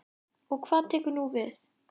Og hvað tekur nú við?